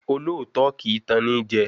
Olóòótọ́ kì í tan ni jẹ